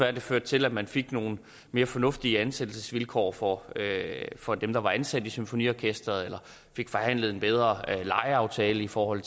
at det førte til at man fik nogle mere fornuftige ansættelsesvilkår for for dem der var ansat i symfoniorkesteret eller fik forhandlet en bedre lejeaftale i forhold